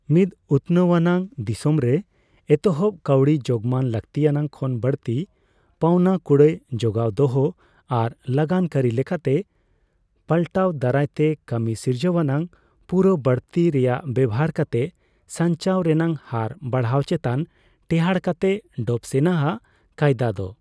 ᱢᱤᱫ ᱩᱛᱱᱟᱹᱣ ᱟᱱᱟᱜ ᱫᱤᱥᱚᱢ ᱨᱮ, ᱮᱛᱚᱦᱚᱵ ᱠᱟᱹᱣᱰᱤᱼᱡᱳᱜᱢᱟᱱ ᱞᱟᱹᱠᱛᱤᱭᱟᱱᱟᱜ ᱠᱷᱚᱱ ᱵᱟᱲᱛᱤ, ᱯᱟᱣᱱᱟ ᱠᱩᱲᱟᱹᱭ ᱡᱳᱜᱟᱣ ᱫᱚᱦᱚ ᱟᱨ ᱞᱟᱜᱟᱱᱠᱟᱹᱨᱤ ᱞᱮᱠᱟᱛᱮ ᱯᱟᱞᱴᱟᱣ ᱫᱟᱨᱟᱭᱛᱮ ᱠᱟᱹᱢᱤ ᱥᱤᱨᱡᱟᱹᱣᱟᱱᱟᱜ ᱯᱩᱨᱟᱹ ᱵᱟᱹᱲᱛᱤ ᱨᱮᱭᱟᱜ ᱵᱮᱣᱦᱟᱨ ᱠᱟᱛᱮ ᱥᱟᱧᱪᱟᱣ ᱨᱮᱱᱟᱜ ᱦᱟᱨ ᱵᱟᱲᱦᱟᱣ ᱪᱮᱛᱟᱱ ᱴᱮᱸᱦᱟᱴ ᱠᱟᱛᱮ ᱰᱚᱵᱼᱥᱮᱱ ᱟᱜ ᱠᱟᱹᱭᱫᱟ ᱫᱚ ᱾